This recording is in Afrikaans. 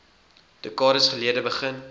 dekades gelede begin